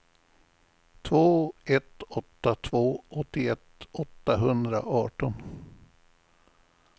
två ett åtta två åttioett åttahundraarton